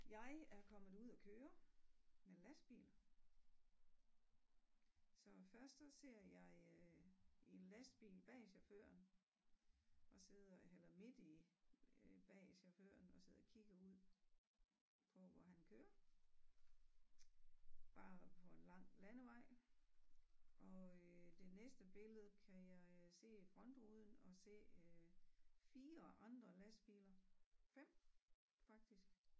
Jeg er kommet ud at køre med lastbil så først der ser jeg øh en lastbil bag chaufføren og sidder han er midt i øh bag chaufføren og sidder kigger ud på hvor han kører bare på en lang landevej og øh det næste billede kan jeg se frontruden og se øh 4 andre lastbiler 5 faktisk